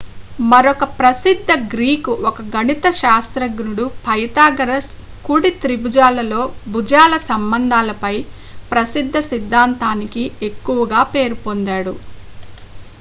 మరొక ప్రసిద్ధ గ్రీకు ఒక గణిత శాస్త్రజ్ఞుడు పైథాగరస్ కుడి త్రిభుజాలలో భుజాల సంబంధాల పై ప్రసిద్ధ సిద్ధాంతానికి ఎక్కువగా పేరుపొందాడు